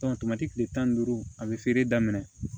kile tan ni duuru a be feere daminɛ